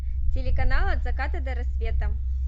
телеканал от заката до рассвета